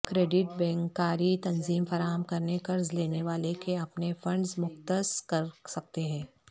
credit بینکاری تنظیم فراہم کرنے قرض لینے والے کے اپنے فنڈز مختص کر سکتے ہیں